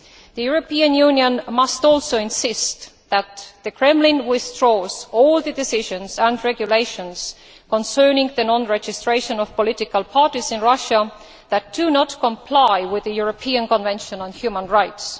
The European Union must also insist that the Kremlin withdraws all decisions and regulations concerning the non registration of political parties in Russia that do not comply with the European Convention on Human Rights.